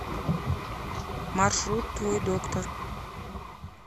маршрут твой доктор